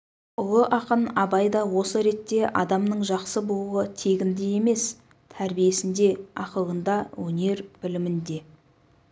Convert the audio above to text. ұлы ақын абай да осы ретте адамның жақсы болуы тегінде емес тәрбиесінде ақылында өнер-білімінде